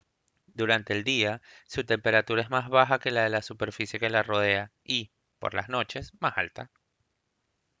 durante el día su temperatura es más baja que la de la superficie que la rodea y por las noches más alta